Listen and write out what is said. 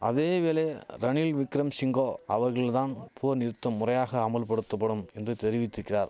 அதேவேளை ரணில் விக்கிரம் சிங்கோ அவர்கள் தான் போர் நிறுத்தம் முறையாக அமுல்படுத்தபடும் என்று தெரிவித்திக்கிறார்